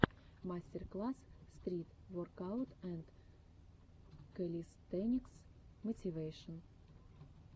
мастер класс стрит воркаут энд кэлистэникс мотивэйшн